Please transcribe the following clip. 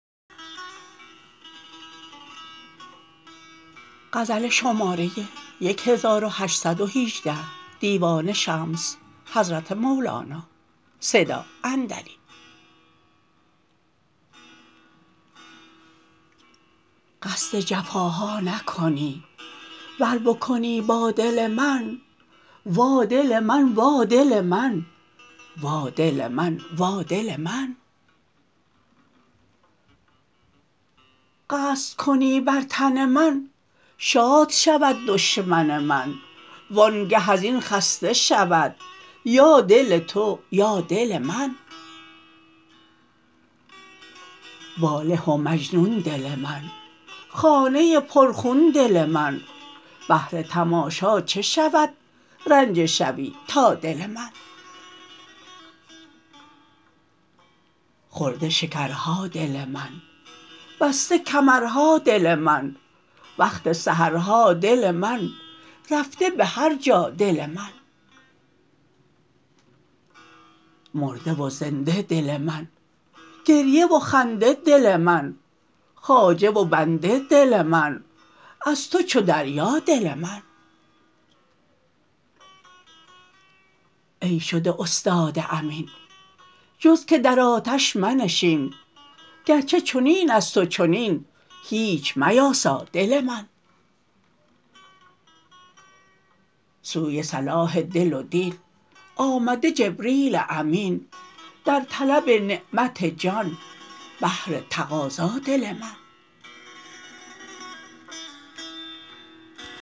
قصد جفاها نکنی ور بکنی با دل من وا دل من وا دل من وا دل من وا دل من قصد کنی بر تن من شاد شود دشمن من وانگه از این خسته شود یا دل تو یا دل من واله و مجنون دل من خانه پرخون دل من بهر تماشا چه شود رنجه شوی تا دل من خورده شکرها دل من بسته کمرها دل من وقت سحرها دل من رفته به هر جا دل من مرده و زنده دل من گریه و خنده دل من خواجه و بنده دل من از تو چو دریا دل من ای شده استاد امین جز که در آتش منشین گرچه چنین است و چنین هیچ میاسا دل من سوی صلاح دل و دین آمده جبریل امین در طلب نعمت جان بهر تقاضا دل من